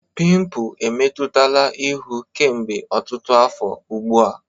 Pimpụ emetụtala ihu kemgbe ọtụtụ afọ ugbu a.